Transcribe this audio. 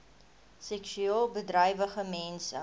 seksueel bedrywige mense